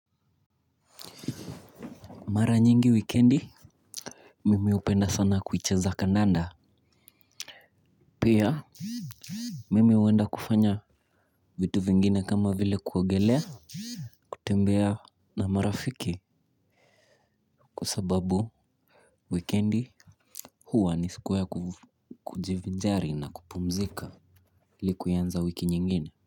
Mara nyingi wikendi, mimi hupenda sana kuicheza kandanda. Pia, mimi huenda kufanya vitu vingine kama vile kuogelea. Kutembea na marafiki. Kwa sababu wikendi huwa ni siku ya kujivinjari na kupumzika il ikuianza wiki nyingine.